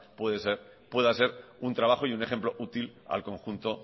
pueda ser un trabajo y un ejemplo útil al conjunto